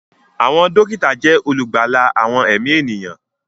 Àwọn dókítà jẹ́ olùgbàlà àwọn ẹ̀mí ènìyàn